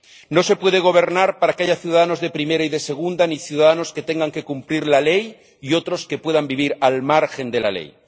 No se puede gobernar para que haya ciudadanos de primera y de segunda ni ciudadanos que tengan que cumplir la ley y otros que puedan vivir al margen de la ley.